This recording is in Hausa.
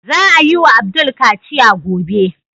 Za a yi wa Abdul kaciya gobe.